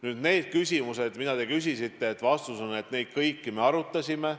Nüüd need küsimused, mida te küsisite – vastus on, et neid kõiki me arutasime.